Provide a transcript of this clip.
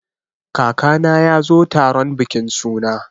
Kakana ya zo taron bikin suna.